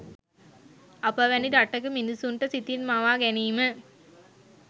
අප වැනි රටක මිනිසුන්ට සිතින් මවා ගැනිම